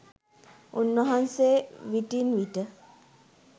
උන් වහන්සේ විටින් විට